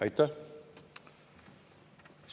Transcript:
Aitäh!